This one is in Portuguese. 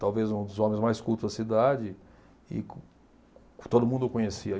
Talvez um dos homens mais cultos da cidade e co, todo mundo o conhecia.